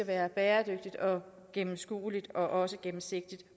er bæredygtigt og gennemskueligt og også gennemsigtigt